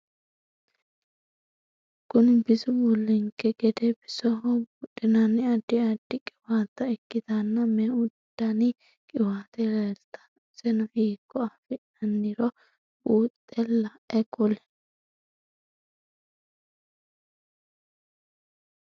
Kunni bisu bullanoki gede bisoho buudhinnanni addi addi qwaatta ikitanna meu danni qiwaate leeltano iseno hiikko afi'nanniro buuxe lae kuli?